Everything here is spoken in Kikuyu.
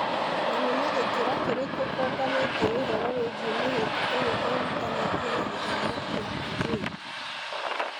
Nĩ na gĩkĩro kĩrĩkũ ũũnganĩtie ũhoro wĩgiĩ mĩhĩnga ĩrĩa ĩhutanĩtie na gĩthomo kĩa airĩtu?